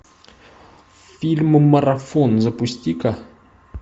фильм марафон запусти ка